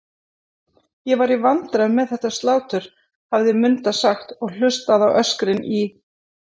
Ég var í vandræðum með þetta slátur, hafði Munda sagt og hlustað á öskrin í